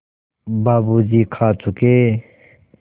बाबू जी खा चुके